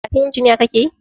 Karatun injiniya kakeyi?